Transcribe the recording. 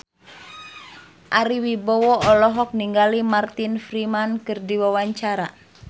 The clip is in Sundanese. Ari Wibowo olohok ningali Martin Freeman keur diwawancara